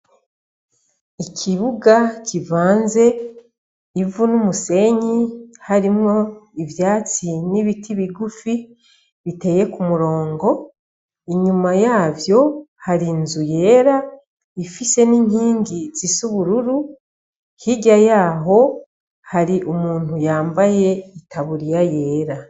Ikibuga kivanze ivu n'umusenyi, harimwo ivyatsi n'ibiti bigufi biteye ku murongo, inyuma yavyo hari nzu yera ifise n'inkingi zisa ubururu hirya yaho hari umuntu yambaye itaburiya yera.